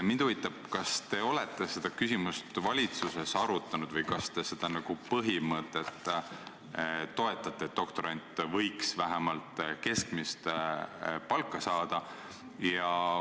Mind huvitab, kas te olete seda küsimust valitsuses arutanud või kas te seda põhimõtet toetate, et doktorant võiks vähemalt keskmist palka saada.